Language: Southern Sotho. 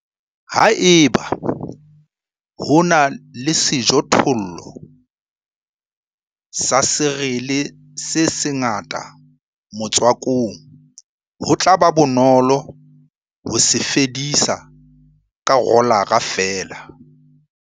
Haeba ho na le sejothollo sa serele cereal se sengata motswakong, ho tla ba bonolo ho se fedisa ka rolara feela.